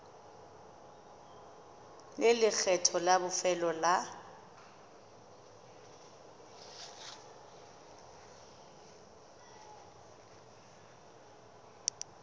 le lekgetho la bofelo la